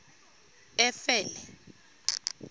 efele